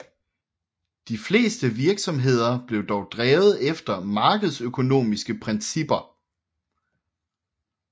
De fleste virksomheder blev dog drevet efter markedsøkonomiske principper